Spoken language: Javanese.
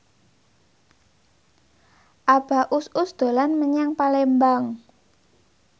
Abah Us Us dolan menyang Palembang